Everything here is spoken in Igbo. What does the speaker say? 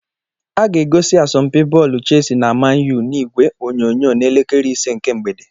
Aga egosi asompi bọọlụ Chelsea na Man U n'ìgwè onyonyo n'elekere ise nke mgbede.